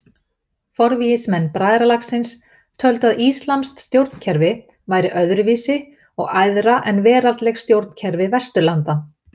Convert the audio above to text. Forvígismenn bræðralagsins töldu að íslamskt stjórnkerfi væri öðru vísi og æðra en veraldleg stjórnkerfi Vesturlanda.